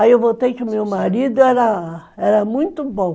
Aí eu voltei que o meu marido era muito bom.